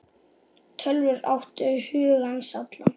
Tölvur áttu hug hans allan.